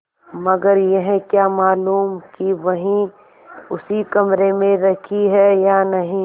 मगर यह क्या मालूम कि वही उसी कमरे में रखी है या नहीं